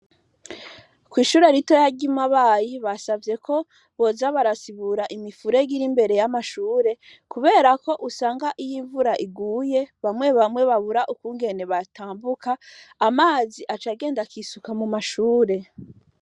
Ku ishure ritoyi ry'I Mabayi basavye ko boza barasibura imifurege iri imbere y'amashure, kubera ko usanga iyo imvura iguye bamwe bamwe babura ukungene batambuka , amazi aca agenda akisuka mu mashure.